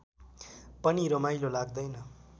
पनि रमाइलो लाग्दैन